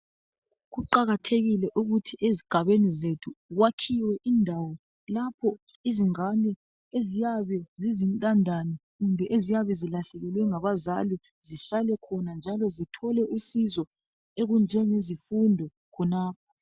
Kuqakathekile ukuthi ezigabeni zethu kwakhiwe indawo lapho izingane eziyabe zizintandane eziyabe zilahlekelwe ngaba zali zihlale khona njalo zithole usizo olunjengezifundo khonapho